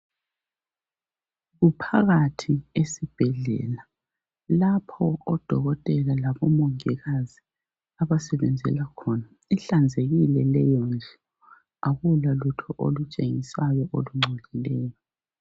Kuphakathi esibhedlela lapho odokotela labomongikazi abasebenzela khona. Ihlanzekile leyondlu. Akulalutho olutshengisayo olungcolileyo.